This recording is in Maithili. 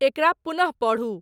एकरा पुनः पढ़ु